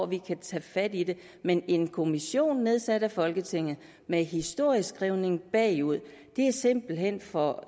vi kan tage fat i det men en kommission nedsat af folketinget med historieskrivning bagud er simpelt hen for